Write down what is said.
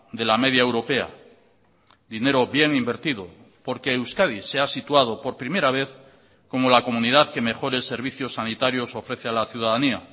de la media europea dinero bien invertido porque euskadi se ha situado por primera vez como la comunidad que mejores servicios sanitarios ofrece a la ciudadanía